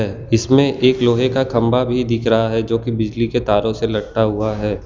इसमें एक लोहे का खंबा भी दिख रहा है जोकि बिजली के तारों से लटका हुआ है।